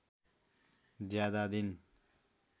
ज्यादा दिन